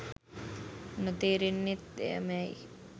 නොතෙරෙන්නෙත් එය මෑයි